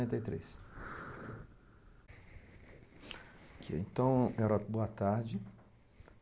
tenta e três